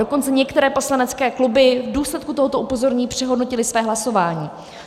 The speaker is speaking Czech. Dokonce některé poslanecké kluby v důsledku tohoto upozornění přehodnotily své hlasování.